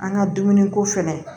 An ka dumuniko fɛnɛ